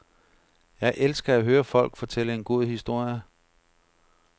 Jeg elsker at høre folk fortælle en god historie.